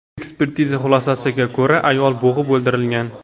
Ekspertiza xulosasiga ko‘ra, ayol bo‘g‘ib o‘ldirilgan.